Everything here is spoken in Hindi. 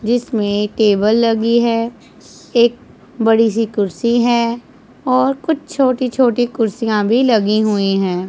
जिसमें टेबल लगी है एक बड़ी सी कुर्सी है और कुछ छोटी छोटी कुर्सियां भी लगी हुई हैं।